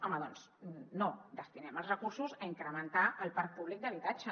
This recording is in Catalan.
home doncs no destinem els recursos a incrementar el parc públic d’habitatge